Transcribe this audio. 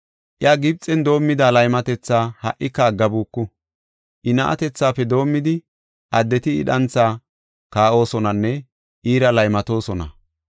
Iya Gibxen doomida laymatetha ha77ika aggabuku; I na7atethafe doomidi, addeti I dhanthaa kaa7osonanne iira laymatoosona.”